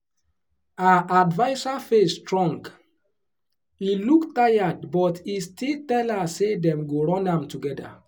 her adviser face strong e look tired but e still tell her say dem go run am together.